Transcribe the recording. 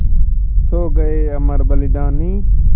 सो गये अमर बलिदानी